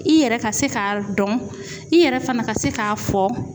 I yɛrɛ ka se k'a dɔn i yɛrɛ fana ka se k'a fɔ